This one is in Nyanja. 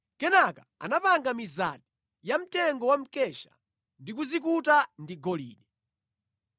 Kenaka anapanga mizati yamtengo wa mkesha ndi kuzikuta ndi golide.